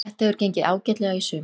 Það hefur gengið ágætlega í sumar.